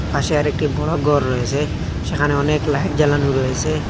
পাশে আরেকটি বড় গর রয়েসে সেখানে অনেক লাইট জ্বালানো রয়েসে।